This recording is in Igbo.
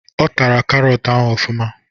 Ọ tara karọt ahụ ofụma